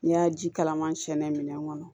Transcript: N'i y'a ji kalaman sɛnɛ minɛn kɔnɔ